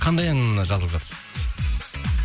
қандай ән жазылып жатыр